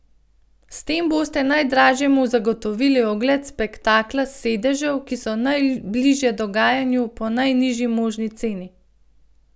S tem boste najdražjemu zagotovili ogled spektakla s sedežev, ki so najbližje dogajanju, po najnižji možni ceni.